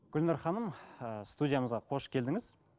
гүлнұр ханым ыыы студиямызға қош келдіңіз